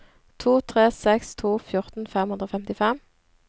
to tre seks to fjorten fem hundre og femtifem